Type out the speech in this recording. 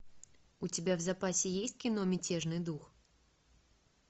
у тебя в запасе есть кино мятежный дух